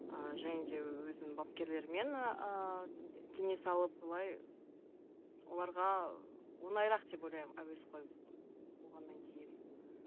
ыыы және де өзінің бапкерлерімен ііі кеңес алып былай оларға оңайырақ деп ойлаймын әуесқой болғаннан кейін